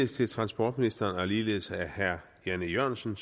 til transportministeren og ligeledes af herre jan e jørgensen